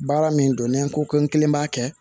Baara min donnen ko ko n kelen b'a kɛ